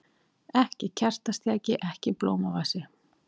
Ekki kertastjaki, ekki blómavasi.